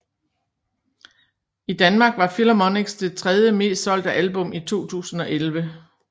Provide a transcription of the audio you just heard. I Danmark var Philharmonics det tredje mest solgte album i 2011